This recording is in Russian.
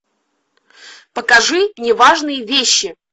покажи неважные вещи